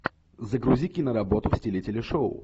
загрузи киноработу в стиле телешоу